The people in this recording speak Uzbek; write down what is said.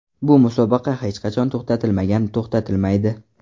Bu musobaqa hech qachon to‘xtatilmagan, to‘xtatilmaydi.